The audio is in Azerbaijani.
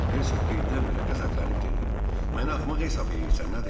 Hersoq birdən-birə qəzəblənib dedi: Məni axmaq hesab eləyirsən, nədir?